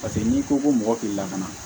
Paseke n'i ko ko mɔgɔ k'i lakana